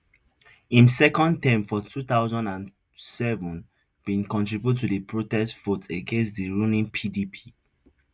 im second term for two thousand and seven bin contribute to di protest vote against di ruling pdp